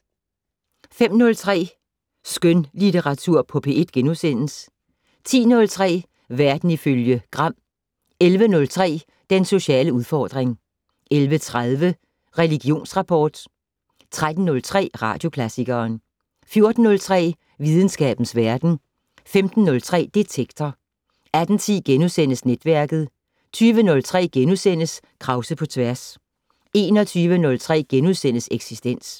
05:03: Skønlitteratur på P1 * 10:03: Verden ifølge Gram 11:03: Den sociale udfordring 11:30: Religionsrapport 13:03: Radioklassikeren 14:03: Videnskabens Verden 15:03: Detektor 18:10: Netværket * 20:03: Krause på tværs * 21:03: Eksistens *